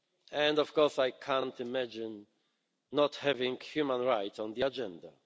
And, of course, I can't imagine not having human rights on the agenda.